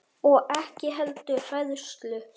Og ekki heldur hræðslu